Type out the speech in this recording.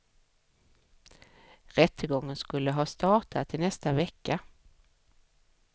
Rättegången skulle ha startat i nästa vecka.